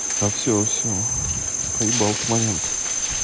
а всё всё проебал ты момент